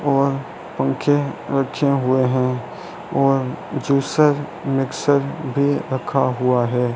और पंखे रखे हुए हैं और जूसर मिक्सर भी रखा हुआ है।